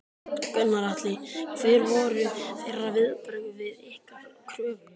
Gunnar Atli: Hver voru þeirra viðbrögð við ykkar kröfum?